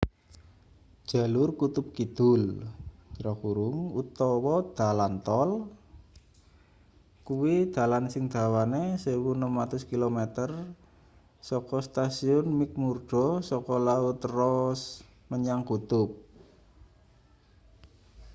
jalur kutub kidul utawa dalan tol kuwi dalan sing dawane 1600km saka stasiun mcmurdo saka laut ross menyang kutub